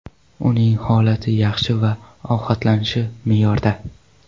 Uning holati yaxshi va ovqatlanishi me’yorda.